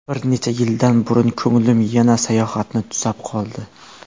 Bir necha yil burun ko‘nglim yana sayohatni tusab qoldi.